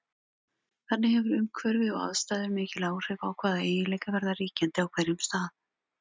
Þannig hefur umhverfi og aðstæður mikil áhrif á hvaða eiginleikar verða ríkjandi á hverjum stað.